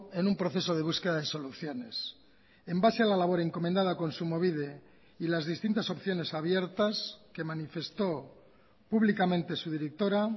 en un proceso de búsqueda de soluciones en base a la labor encomendada a kontsumobide y las distintas opciones abiertas que manifestó públicamente su directora